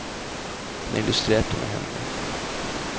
Han illustrerte med hendene.